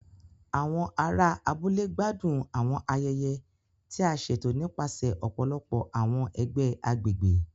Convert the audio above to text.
Àwọn ará abúlé gbádùn àwọn ayẹyẹ ti a ṣeto nipasẹ ọpọlọpọ awọn ẹgbẹ agbègbè.